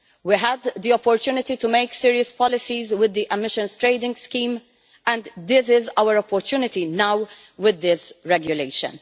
We had the opportunity to make serious policies with the emissions trading scheme and this is our opportunity now with this regulation.